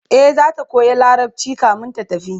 e zata koya larabci kamin ta tafi